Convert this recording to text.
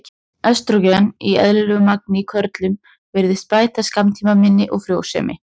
Estrógen í eðlilegu magni í körlum virðist bæta skammtímaminni og frjósemi.